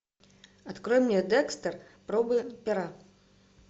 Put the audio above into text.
открой мне декстер пробы пера